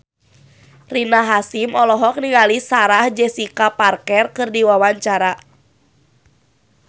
Rina Hasyim olohok ningali Sarah Jessica Parker keur diwawancara